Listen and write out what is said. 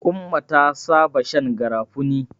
Umma ta saba shan garafuni.